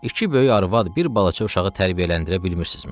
İki böyük arvad bir balaca uşağı tərbiyələndirə bilmirsizmi?